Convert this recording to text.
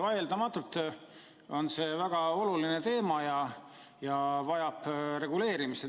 Vaieldamatult on see väga oluline teema ja vajab reguleerimist.